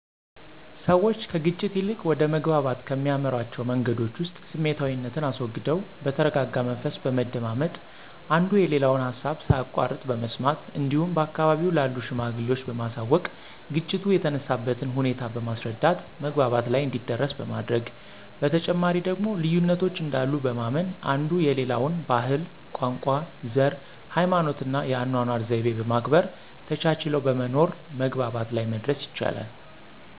ሰዎች ከግጭት ይልቅ ወደ መግባባት ከሚያመሯቸዉ መንገዶች ዉስጥ ስሜታዊነትን አስወግደው በተረጋጋ መንፈስ በመደማመጥ፣ አንዱ የሌላውን ሀሳብ ሳያቋርጥ በመስማት እንዲሁም በአካባቢው ላሉ ሽማግሌዎች በማሳወቅ ግጭቱ የተነሳበትን ሁኔታ በማስረዳት መግባባት ላይ እንዲደረስ በማድረግ፤ በተጨማሪ ደግሞ ልዩነቶች እንዳሉ በማመን አንዱ የሌላውን ባህል፣ ቋንቋ፣ ዘር፣ ሀይማኖትና የአኗኗር ዘይቤ በማክበር ተቻችለው በመኖር መግባባት ላይ መድረስ ይቻላል።